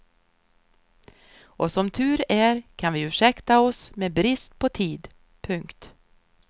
Och som tur är kan vi ursäkta oss med brist på tid. punkt